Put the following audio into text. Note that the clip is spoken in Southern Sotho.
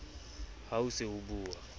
ha o se o bua